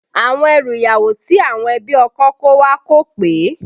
Àwọn ẹrù ìyàwó tí àwọn ẹbí ọkọ kó wá kò pé